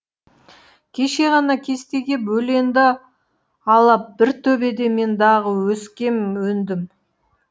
кеше ғана кестеге бөленді алап бір төбеде мен дағы өскем өндім